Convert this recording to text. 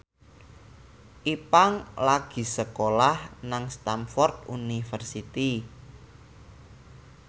Ipank lagi sekolah nang Stamford University